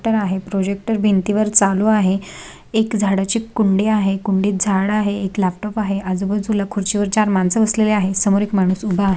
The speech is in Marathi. प्रोजेक्टर आहे प्रोजेक्टर भिंती वर चालू आहे एक झाडाची कुंडी आहे कुंडीत झाड आहे एक लॅपटॉप आहे आजूबाजूला खुर्ची वर चार माणस बसलेली आहे समोर एक माणूस उभा आ--